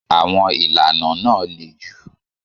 Àwọn ìlànà náà le jù.